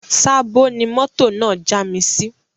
Sabo ni mọ́tò náà já mi sí